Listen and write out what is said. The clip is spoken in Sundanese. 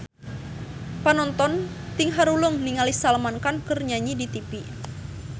Panonton ting haruleng ningali Salman Khan keur nyanyi di tipi